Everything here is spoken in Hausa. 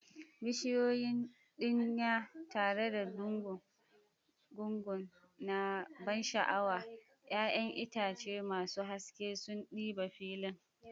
Bishiyoyin dinya tare da gungu na ban sha'awa, 'ya'yan itace masu haske sun ɗiba filin.